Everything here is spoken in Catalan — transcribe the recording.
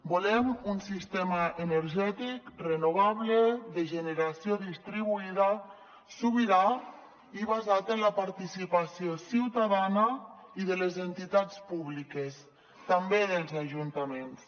volem un sistema energètic renovable de generació distribuïda sobirà i basat en la participació ciutadana i de les entitats públiques també dels ajuntaments